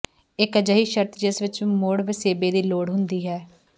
ਇੱਕ ਅਜਿਹੀ ਸ਼ਰਤ ਜਿਸ ਵਿੱਚ ਮੁੜ ਵਸੇਬੇ ਦੀ ਲੋੜ ਹੁੰਦੀ ਹੈ